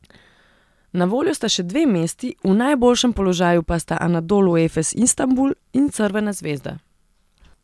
Na voljo sta še dve mesti, v najboljšem položaju pa sta Anadolu Efes Istanbul in Crvena zvezda.